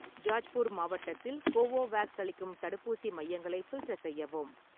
ஜாஜ்பூர் மாவட்டத்தில் கோவோவேக்ஸ் அளிக்கும் தடுப்பூசி மையங்களை ஃபில்டர் செய்யவும்.